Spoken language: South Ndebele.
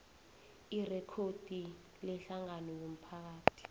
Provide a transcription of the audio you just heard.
irekhodi lehlangano yomphakathi